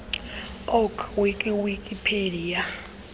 org wiki wikipedia